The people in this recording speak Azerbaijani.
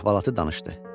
Əhvalatı danışdı.